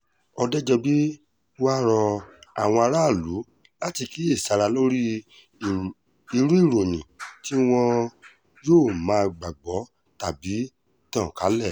òdejọ́bí wàá rọ àwọn aráàlú láti kíyèsára lórí irú ìròyìn tí wọn yóò máa gbàgbọ́ tàbí tàn kálẹ̀